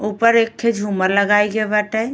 ऊपर एक ठे झूमर लगाई गईल बाटे।